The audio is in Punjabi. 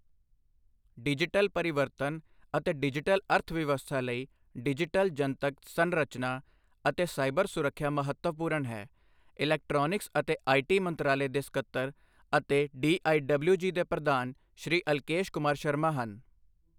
ਡਿਜੀਟਲ ਪਰਿਵਰਤਨ ਅਤੇ ਡਿਜੀਟਲ ਅਰਥਵਿਵਸਥਾ ਲਈ ਡਿਜੀਟਲ ਜਨਤਕ ਸਰੰਚਨਾ ਅਤੇ ਸਾਇਬਰ ਸੁਰੱਖਿਆ ਮਹੱਤਵਪੂਰਣ ਹੈ ਇਲੈਕਟੋ੍ਨਿਕਸ ਅਤੇ ਆਈਟੀ ਮੰਤਰਾਲੇ ਦੇ ਸਕੱਤਰ ਅਤੇ ਡੀਈਡਬਲਿਊਜੀ ਦੇ ਪ੍ਰਧਾਨ ਸ਼੍ਰੀ ਅਲਕੇਸ਼ ਕੁਮਾਰ ਸ਼ਰਮਾ ਹਨ।